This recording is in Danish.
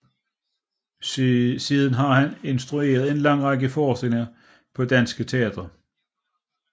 Siden har han instrueret en lang række forestillinger på de danske teatre